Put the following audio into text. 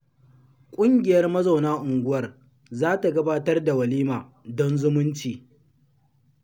Ƙungiyar mazauna unguwar za ta gabatar da walima don zumunci